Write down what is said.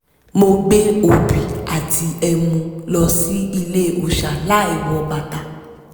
mo gbé obì àti emu lọ sí ilé òòṣà láìwọ bàtà